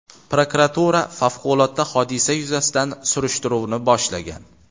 Prokuratura favqulodda hodisa yuzasidan surishtiruvni boshlagan.